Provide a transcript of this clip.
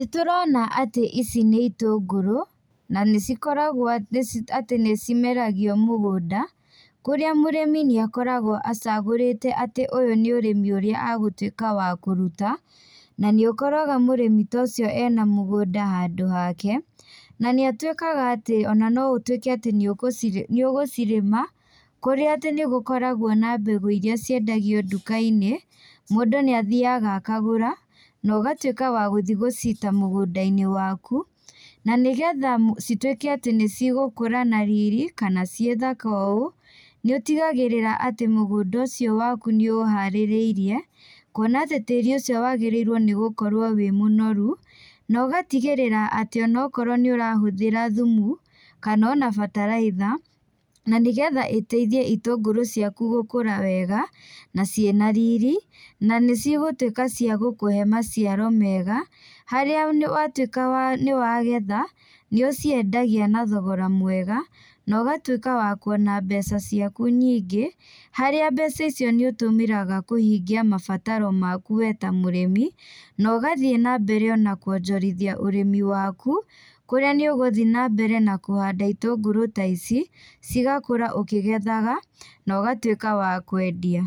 Nĩtũrona atĩ ici nĩ itũngũrũ, na nĩcikoragwo atĩ nĩcimeragio mũgũnda, kũrĩa mũrĩmi nĩakoragwo acagũrĩte atĩ ũyũ nĩ ũrĩmi ũrĩa agũtuĩka wa kũruta, na nĩ ũkoraga mũrĩmi ta ũcio ena mũgũnda handũ hake, na nĩatuĩkaga atĩ ona no ũtuĩke atĩ nĩũkũ nĩũgũcirĩma, kũrĩa atĩ nĩgũkoragwo na mbegũ iria ciendagio ndukainĩ, mũndũ nĩathiaga akagũra, na ũgatuĩka wa gũthiĩ gũcita mũgũndainĩ waku, na nĩgetha mũ cituĩke nĩcigũkũra na riri, kana ciĩ thaka ũũ, nĩũtigagĩrĩra atĩ mũgũnda ũcio waku nĩũharĩrĩirie kuona atĩ tĩri ũcio wagĩrĩirwo nĩgũkorwo wĩ mũnoru, na ũgatigĩrĩra atĩ ona okorwo nĩũrahũthĩra thumu, kana ona bataraitha, na nĩgetha ĩteithie itũngũru ciaku gũkũra wega, na ciĩna riri, na nĩcigũtuĩka cia gũkũhe maciaro mega, harĩa nĩ watuĩka nĩwagetha, nĩũciendagia na thogora mwega, na ũgatuĩka wa kuona mbeca ciaku nyingĩ, harĩa mbeca icio nĩũtũmĩraga kũhingia mabataro maku we ta mũrĩmi, na ũgathiĩ na mbere ona kuonjorithia ũrĩmi waku, kũrĩa nĩũgũthiĩ nambere na kũhanda itũngũrũ ta ici, cigakũra ũkĩgethaga, na ũgatuĩka wa kwendia.